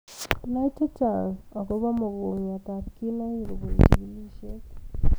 Nai chechan akobaa mogongiot ab kinaik kobun chigilisiet